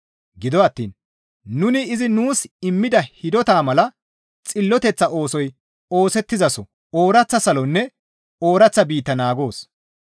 Gido attiin nuni izi nuus immida hidotaa mala xilloteththa oosoy oosettizaso ooraththa salonne ooraththa biitta naagoos.